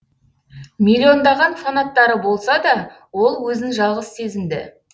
миллиондаған фанаттары болса да ол өзін жалғыз сезінді